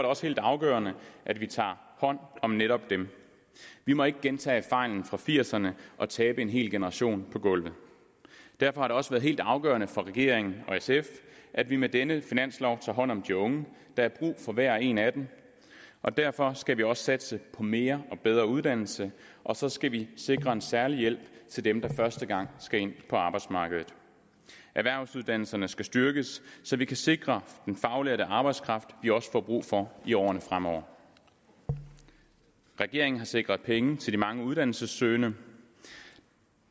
også helt afgørende at vi tager hånd om netop dem vi må ikke gentage erfaringen fra nitten firserne og tabe en hel generation på gulvet derfor har det også været helt afgørende for regeringen og sf at vi med denne finanslov tager hånd om de unge der er brug for hver og en af dem og derfor skal vi også satse på mere og bedre uddannelse og så skal vi sikre en særlig hjælp til dem der første gang skal ind på arbejdsmarkedet erhvervsuddannelserne skal styrkes så vi kan sikre den faglærte arbejdskraft vi også får brug for i årene fremover regeringen har sikret penge til de mange uddannelsessøgende